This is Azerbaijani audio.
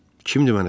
Kimdir məni çağıran?